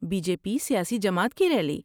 Be J P سیاسی جماعت کی ریلی۔